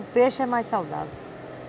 O peixe é mais saudável.